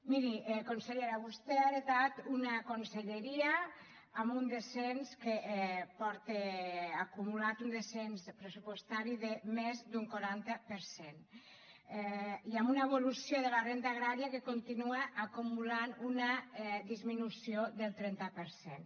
miri consellera vostè ha heretat una conselleria que porta acumulat un descens pressupostari de més d’un quaranta per cent i amb una evolució de la renda agrària que continua acumulant una disminució del trenta per cent